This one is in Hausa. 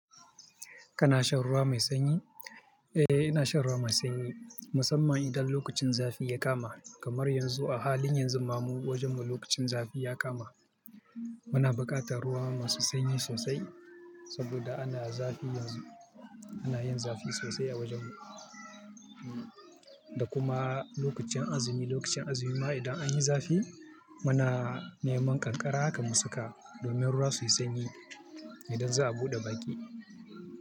Kana shan ruwa mai sanyi? Eh, ina shan ruwa mai sanyi musamman idan lokacin zafi ya kama kamar yanzu a halin yanzu ma mu wajen mu lokacin zafi ya kama. Muna buƙatar ruwa masu sanyi sosai saboda ana zafi yanzu. Ana yin zafi sosai a wajen mu. Da kuma lokacin azumi, lokacin azumi ma idan an yi zafi muna neman ƙanƙara haka mu saka domin ruwa suyi sanyi idan za a buɗe baƙi.